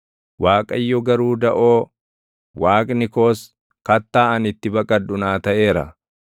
Waaqayyo garuu daʼoo, Waaqni koos, kattaa ani itti baqadhu naa taʼeera.